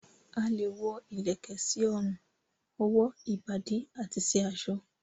A lẹ̀ wọ ilẹ̀kẹ̀ sí orùn, ọwó, ìbàdí àti sí aṣọ